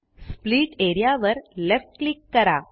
split A R E A वर left click करा